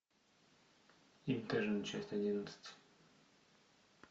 интерны часть одиннадцать